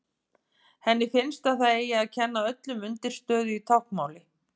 Henni finnst að það eigi að kenna öllum undirstöðu í táknmáli.